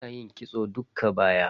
Ina yin kitson dukka baya.